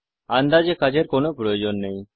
আন্দাজে কাজের কোন প্রয়োজন নেই